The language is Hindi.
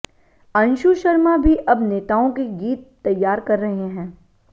अंशु शर्मा भी अब नेताओं के गीत तैयार कर रहे हैं